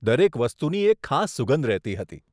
દરેક વસ્તુની એક ખાસ સુગંધ રહેતી હતી.